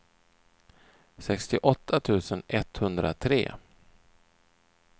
sextioåtta tusen etthundratre